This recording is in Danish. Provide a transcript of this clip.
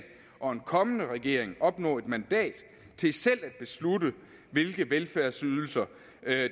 og en kommende regering opnå et mandat til selv at beslutte hvilke velfærdsydelser